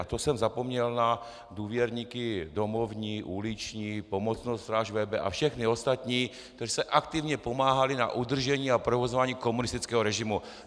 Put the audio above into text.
A to jsem zapomněl na důvěrníky domovní, uliční, Pomocnou stráž VB a všechny ostatní, kteří se aktivně podíleli na udržení a provozování komunistického režimu.